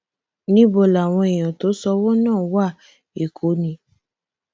níbo làwọn èèyàn tó sanwó náà wá èkó ni